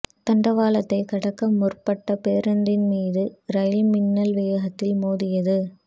தண்டவாளத்தைக் கடக்க முற்பட்ட பேருந்தின் மீது ரயில் மின்னல் வேகத்தில் மோதியது